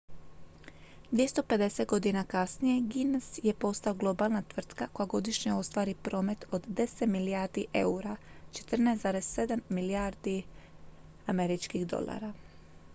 250 godina kasnije guinness je postao globalna tvrtka koja godišnje ostvari promet od 10 milijardi eura 14,7 milijardi usd